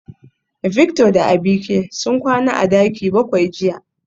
Victor da Abike sun kwana a daki bakwai jiya